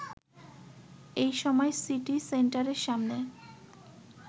এই সময় সিটি সেন্টারের সামনে